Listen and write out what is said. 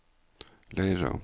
Leira